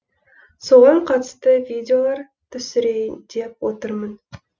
соған қатысты видеолар түсірейін деп отырмын